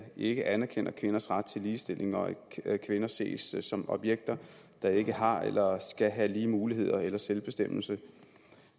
ikke anerkender kvinders ret til ligestilling og at kvinder ses som objekter der ikke har eller skal have lige muligheder eller selvbestemmelse